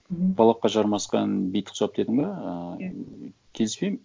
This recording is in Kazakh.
мхм балаққа жармасқан битке ұқсап дедің бе ыыы келіспеймін